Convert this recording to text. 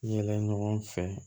Yɛlɛ ɲɔgɔn fɛ